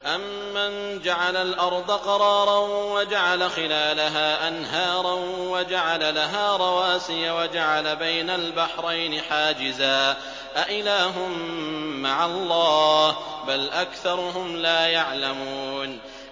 أَمَّن جَعَلَ الْأَرْضَ قَرَارًا وَجَعَلَ خِلَالَهَا أَنْهَارًا وَجَعَلَ لَهَا رَوَاسِيَ وَجَعَلَ بَيْنَ الْبَحْرَيْنِ حَاجِزًا ۗ أَإِلَٰهٌ مَّعَ اللَّهِ ۚ بَلْ أَكْثَرُهُمْ لَا يَعْلَمُونَ